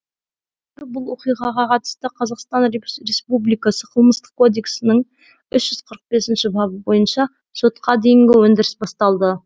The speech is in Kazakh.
қазір бұл оқиғаға қатысты қазақстан республикасы қылмыстық кодексінің үш жүз қырық бесінші бабы бойынша сотқа дейінгі өндіріс басталды